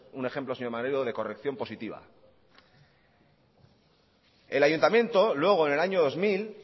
un ejemplo señor maneiro de corrección positiva el ayuntamiento luego en el año dos mil